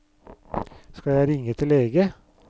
Skal jeg ringe etter lege?